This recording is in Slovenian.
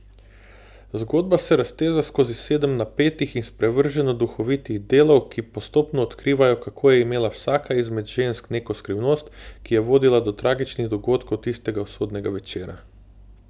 Zgodba se razteza skozi sedem napetih in sprevrženo duhovitih delov, ki postopno odkrivajo, kako je imela vsaka izmed žensk neko skrivnost, ki je vodila do tragičnih dogodkov tistega usodnega večera.